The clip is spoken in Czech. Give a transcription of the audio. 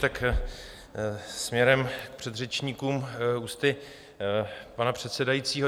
Tak směrem k předřečníkům, ústy pana předsedajícího.